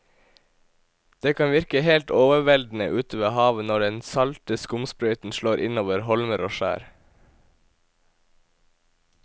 Det kan virke helt overveldende ute ved havet når den salte skumsprøyten slår innover holmer og skjær.